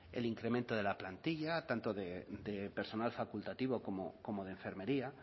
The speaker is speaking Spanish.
el incremento de la plantilla tanto de personal facultativo como de enfermería